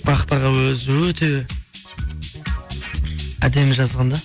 бахыт аға өзі өте әдемі жазған да